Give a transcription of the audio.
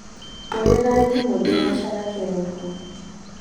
hurera thimu thinashara kiroko